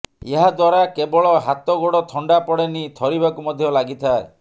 ଏହା ଦ୍ୱାରା କେବଳ ହାତ ଗୋଡ଼ ଥଣ୍ଡା ପଡ଼େନି ଥରିବାକୁ ମଧ୍ୟ ଲାଗିଥାଏ